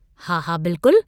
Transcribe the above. हा हा बिल्कुल।